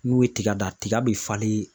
N'u ye tiga dan tiga bi falen